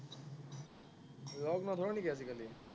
লগ নধৰ নেকি আজিকালি?